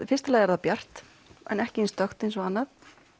fyrsta lagi er það bjart en ekki eins dökkt og annað